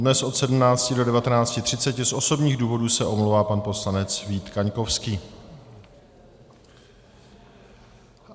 Dnes od 17 do 19.30 z osobních důvodů se omlouvá pan poslanec Vít Kaňkovský.